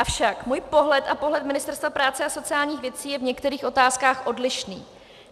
Avšak můj pohled a pohled Ministerstva práce a sociálních věcí je v některých otázkách odlišný.